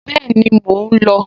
Bẹ́ẹ̀ni, mò ń lò ó